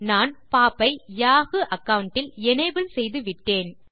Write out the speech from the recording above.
நான் பாப் ஐ Yahoo account டில் எனபிள் செய்துவிட்டேன்